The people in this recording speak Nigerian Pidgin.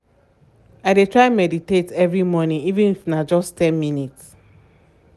i dey try meditate every morning even if na just ten minutes.